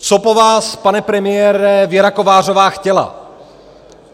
Co po vás, pane premiére, Věra Kovářová chtěla?